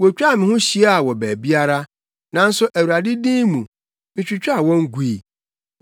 Wotwaa me ho hyiaa wɔ baabiara, nanso Awurade din mu, mitwitwaa wɔn gui.